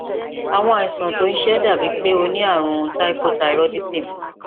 àwọn àìsàn tó ń ṣe ẹ dàbíi pé o ní ààrùn hypothyroidism